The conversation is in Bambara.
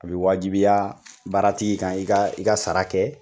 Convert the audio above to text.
A bɛ wajibiya baaratigi kan i ka i ka sara kɛ